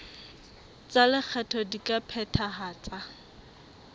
tsa lekgetho di ka phethahatswa